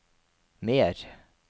mer